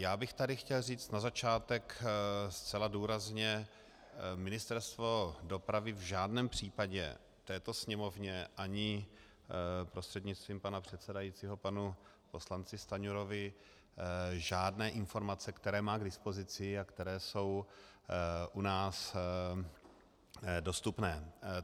Já bych tady chtěl říct na začátek zcela důrazně, Ministerstvo dopravy v žádném případě této Sněmovně ani prostřednictvím pana předsedajícího panu poslanci Stanjurovi žádné informace, které má k dipozici a které jsou u nás dostupné.